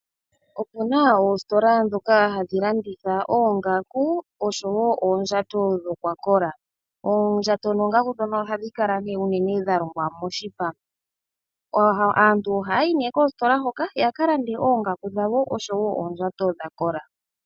Opuna oostola dhimwe ndhoka hadhi landitha oongaku oshowo oondjato dhakola. Oondjato noongaku ndhono ohadhi kala unene dha longwa moshipa. Aantu ohaa yi nduno koostola hoka ya ka lande oongaku osho wo oondjato dha kola.